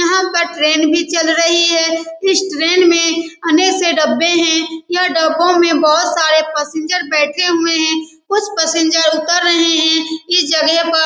यहाँ पर ट्रेन भी चल रही है। इस ट्रेन में अनके से डब्बे है। यह ड़बो में बहुत सारे पैसेंजर बैठे हुए है। कुछ पैसेंजर उतर रहे है। इस जगह पर--